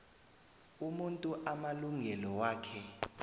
umuntu amalungelo wakhe